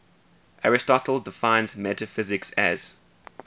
aristotle defines metaphysics as